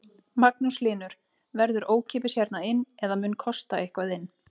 Magnús Hlynur: Verður ókeypis hérna inn eða mun kosta eitthvað inn?